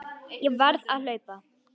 Ég varð að hlaupa.